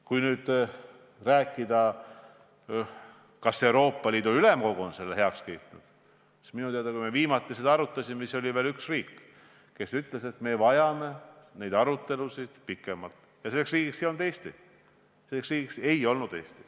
Kui nüüd rääkida sellest, kas Euroopa Ülemkogu on selle heaks kiitnud, siis minu teada, kui me viimati seda arutasime, oli veel üks riik, kes ütles, et me vajame nende arutelude jaoks rohkem aega, ja selleks riigiks ei olnud Eesti.